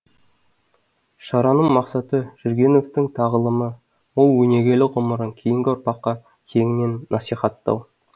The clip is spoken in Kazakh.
шараның мақсаты жүргеновтің тағылымы мол өнегелі ғұмырын кейінгі ұрпаққа кеңінен насихаттау